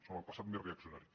són el passat més reaccionari